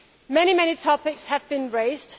Many topics have been raised.